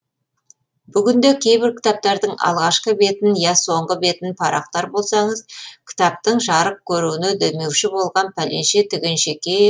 бүгінде кейбір кітаптардың алғашқы бетін я соңғы бетін парақтар болсаңыз кітаптың жарық көруіне демеуші болған пәленше түгенше